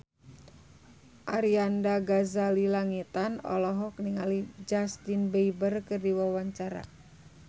Arlanda Ghazali Langitan olohok ningali Justin Beiber keur diwawancara